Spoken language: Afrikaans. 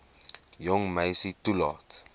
jong meisie toelaat